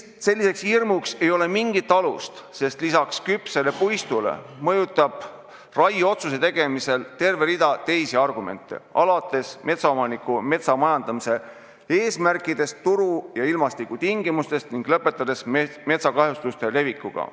Selleks hirmuks ei ole mingit alust, sest peale puistu küpsuse mõjutab raieotsuse tegemist terve rida teisi argumente, alates omaniku metsamajandamise eesmärkidest, turu- ja ilmastikutingimustest ning lõpetades metsakahjustuste levikuga.